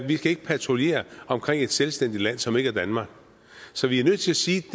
vi kan ikke patruljere omkring et selvstændigt land som ikke er danmark så vi er nødt til at sige